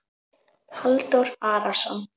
Halldór Arason.